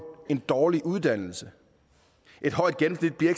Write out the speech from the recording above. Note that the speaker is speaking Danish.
af dårlig uddannelse et højt gennemsnit bliver